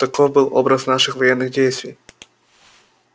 таков был образ наших военных действий